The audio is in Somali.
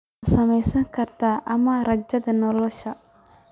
Ma saamaynayso garaadka ama rajada nolosha.